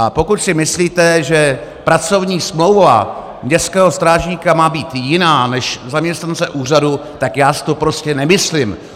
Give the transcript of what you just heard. A pokud si myslíte, že pracovní smlouva městského strážníka má být jiná než zaměstnance úřadu, tak já si to prostě nemyslím.